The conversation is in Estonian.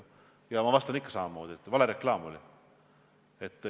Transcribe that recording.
Aga ma vastan ikka samamoodi, et see oli vale reklaam.